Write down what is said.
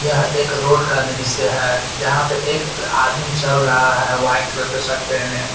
यह एक रोड का दृश्य है जहां पे एक आदमी चल रहा है व्हाइट कलर का शर्ट पहने।